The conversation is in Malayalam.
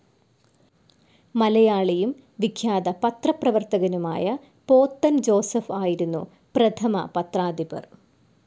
മലയാളിയും വിഖ്യാത പത്രപ്രവർത്തകനുമായ പോത്തൻ ജോസഫ് ആയിരുന്നു പ്രഥമ പത്രാധിപർ.